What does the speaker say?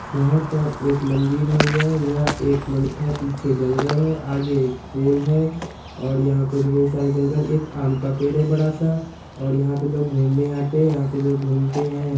यहाँ पर एक मंदिर है यह यह एक पीछे जंगल है आगे एक पोल है और यहाँ पर ढेर सारे जंगल एक आम का पेड़ है बड़ा-सा और यहाँ पर लोग घूमने आते है यहाँ पर लोग घूमते है----